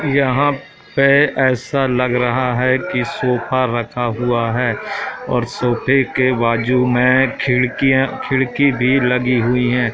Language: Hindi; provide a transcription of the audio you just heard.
यहाँ पे ऐसा लग रहा हैं कि सोफा रखा हुआ हैं और सोफे के बाजू में खिड़कियाँ खिड़की भीं लगी हुई हैं।